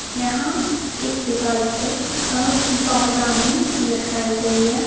यहाँ एक दीवाल पे अ पावदानी लटकाई गई हे.